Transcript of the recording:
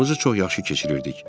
Vaxtımızı çox yaxşı keçirirdik.